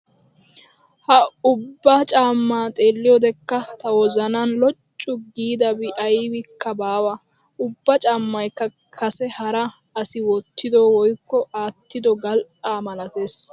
Ha ubba caammaa xeelliyoodekka ta wozanan loccu giidabi aybikka baawa. Ubba caammaykka kase hara asi wottido woykko aattido gal"aa malatees.